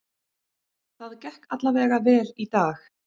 Það gekk alla vega vel í dag.